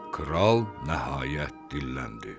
Kral nəhayət dilləndi: